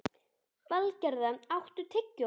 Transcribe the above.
Valgerða, áttu tyggjó?